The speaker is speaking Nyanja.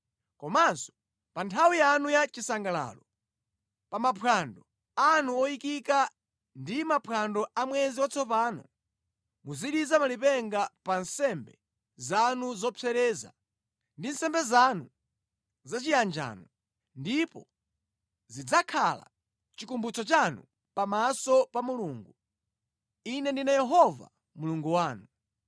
Komanso pa nthawi yanu ya chisangalalo, pa maphwando anu oyikika ndi maphwando a mwezi watsopano, muziliza malipenga pa nsembe zanu zopsereza ndi nsembe zanu za chiyanjano, ndipo zidzakhala chikumbutso chanu pamaso pa Mulungu. Ine ndine Yehova Mulungu wanu.”